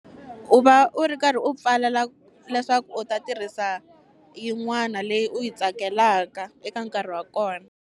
U va u ri karhi u pfalela leswaku u ta tirhisa yin'wana leyi u yi tsakelaka eka nkarhi wa kona.